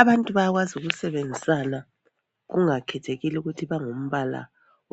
abantu bayakwazi ukusebenzisana kungakhethelekile ukuthi bangumbala